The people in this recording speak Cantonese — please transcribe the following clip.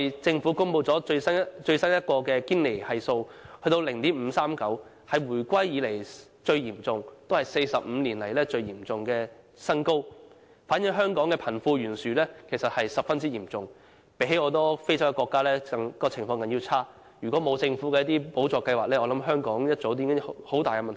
政府剛公布了最新的堅尼系數，是 0.539， 是回歸以來最嚴重，亦是45年來的新高，反映香港貧富懸殊的問題十分嚴重，情況比很多非洲國家還要差，如果沒有政府那些補助計劃，我相信香港早已出現很大問題。